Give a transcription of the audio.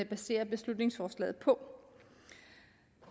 baserer beslutningsforslaget på